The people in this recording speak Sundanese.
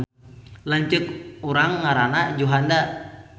Lanceuk urang ngaranna Juhanda